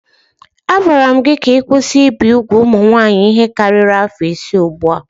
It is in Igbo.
A gwara gị ka ị kwụsị ibi úgwù ụmụ nwaanyị ihe karịrị afọ ise ugbu a.